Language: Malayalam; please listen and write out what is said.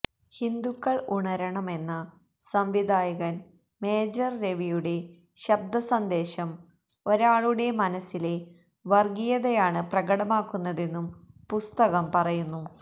ഹിന്ദുക്കള് ഉണരണമെന്ന സംവിധായകന് മേജര് രവിയുടെ ശബ്ദ സന്ദേശം ഒരാളുടെ മനസ്സിലെ വര്ഗീയതയാണ് പ്രകടമാക്കുന്നതെന്നും പുസ്തകം പറയുന്നു